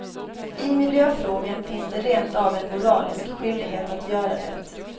I miljöfrågan finns det rent av en moralisk skyldighet att göra det.